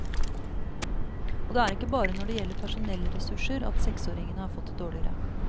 Og det er ikke bare når det gjelder personellressurser, at seksåringene har fått det dårligere.